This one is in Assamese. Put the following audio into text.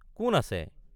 কোন আছে?